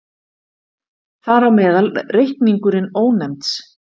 Þar á meðal reikningurinn Ónefnds.